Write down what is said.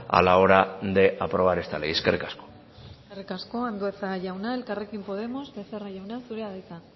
a la hora de aprobar esta ley eskerrik asko eskerrik asko andueza jauna elkarrekin podemos becerra jauna zurea da hitza